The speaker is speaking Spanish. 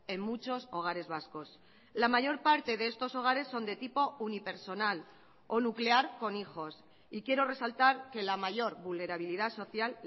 en muchos hogares vascos la mayor parte de estos hogares son de tipo unipersonal o nuclear con hijos y quiero resaltar que la mayor vulnerabilidad social